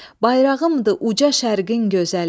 Bayrağımdı uca Şərqin gözəli.